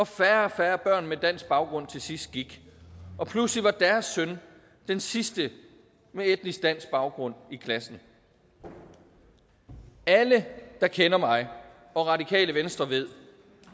færre og færre børn med dansk baggrund til sidst gik pludselig var deres søn den sidste med etnisk dansk baggrund i klassen alle der kender mig og radikale venstre ved